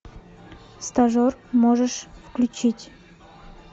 стажер можешь включить